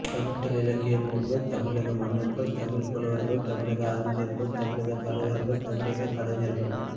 தமிழ் இலக்கிய நூல்கள் தமிழக மன்னர்கள் தமிழ்ப் புலவர்கள் தமிழக அறிஞர்கள் தமிழக தலைவர்கள் தமிழக கலைஞர்கள்